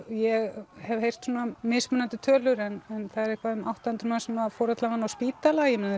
ég hef heyrt mismunandi tölur en það er eitthvað um átta hundruð manns sem fór allavega á spítala